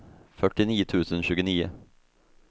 fyrtionio tusen tjugonio